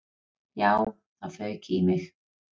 Já, það fauk í mig.